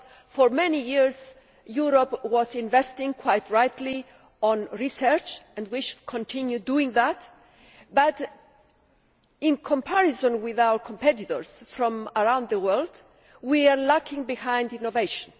For many years Europe has been investing quite rightly in research and we should continue doing that but in comparison with our competitors from around the world we are lagging behind in innovation.